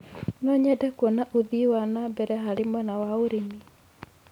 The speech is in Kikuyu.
No nyende kuona ũthii wa na mbere harĩ mwena wa ũrĩmi.